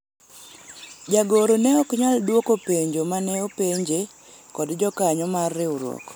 jagoro ne ok nyal dwoko penjo mane openje kod jokanyo mar riwruok